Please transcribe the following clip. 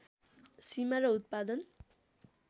सीमा र उत्पादन